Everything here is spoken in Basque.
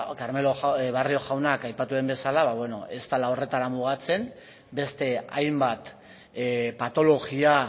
carmelo barrio jaunak aipatu duen bezala ba beno ez dela horretara mugatzen beste hainbat patologia